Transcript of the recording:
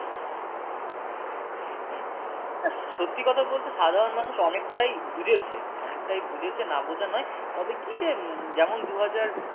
হম হম সত্যি কথা বলতে সাধারণ মানুষ অনেকটাই বুঝেছে অনেকটাই বুঝেছে না বোঝা নয় তবে কি যে যেমন দু হাজার